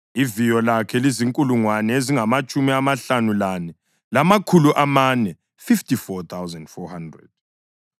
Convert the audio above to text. Iviyo lakhe lizinkulungwane ezingamatshumi amahlanu lane, lamakhulu amane (54,400).